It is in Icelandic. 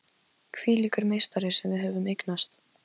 Hvílíkur meistari sem við höfum eignast!